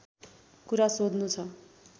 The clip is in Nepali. कुरा सोध्नु छ